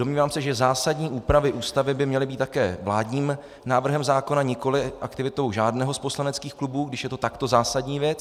Domnívám se, že zásadní úpravy Ústavy by měly být také vládním návrhem zákona, nikoli aktivitou žádného z poslaneckých klubů, když je to takto zásadní věc.